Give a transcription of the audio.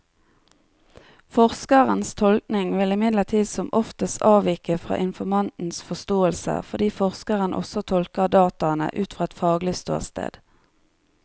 Forskerens tolkning vil imidlertid som oftest avvike fra informantens forståelse, fordi forskeren også tolker dataene ut fra et faglig ståsted.